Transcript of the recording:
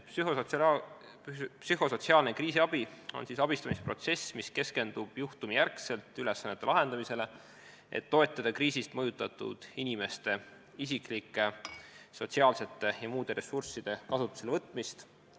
Psühhosotsiaalne kriisiabi on abistamisprotsess, mis keskendub juhtumijärgselt ülesannete lahendamisele, et toetada kriisist mõjutatud inimeste isiklike, sotsiaalsete ja muude ressursside kasutusele võtmist.